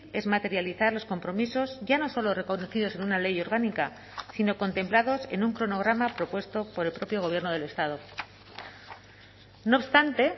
es materializar los compromisos ya no solo reconocidos en una ley orgánica sino contemplados en un cronograma propuesto por el propio gobierno del estado no obstante